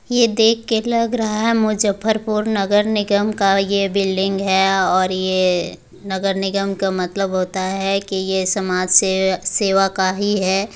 ये देख के लग रहा है मुजफ्फरपुर नगर निगम का ये बिल्डिंग है और ये नगर निगम का मतलब होता है की ये समाज सेव सेवा का ही है।